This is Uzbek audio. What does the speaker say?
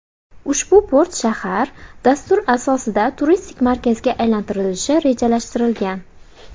Ushbu port shahar dastur asosida turistik markazga aylantirilishi rejalashtirilgan.